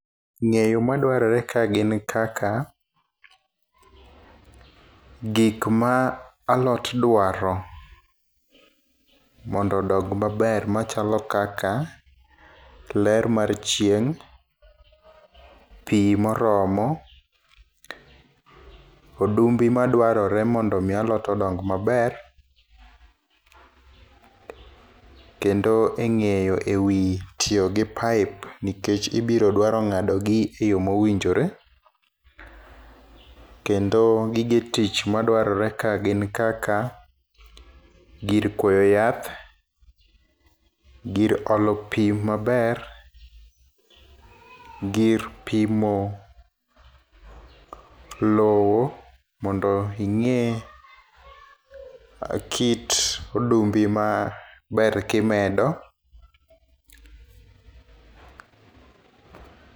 Ng'eyo madwarore ka gin kaka: gik ma alot dwaro mondo odong maber machalo kaka: ler mar chieng', pii moromo, odumbe madwarore mondo mi alot odong maber kendo e ng'eyo ewii tiyo gi pipe nikech, ibiro dwaro ng'ado gi e yoo mowinjore. Kendo gige tich madwarore ka gin kaka gir kwo yath , gir olo pii maber, gir pimo lowo mondo ing'e kit odumbe ma ber kimedo